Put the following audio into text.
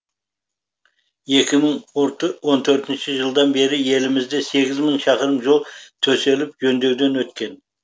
екі мың он төртінші жылдан бері елімізде сегіз мың шақырым жол төселіп жөндеуден өткен